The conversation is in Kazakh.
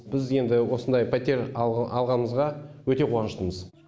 біз енді осындай пәтер алғанымызға өте қуаныштымыз